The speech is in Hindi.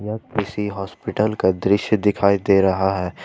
यह किसी हॉस्पिटल का दृश्य दिखाई दे रहा है।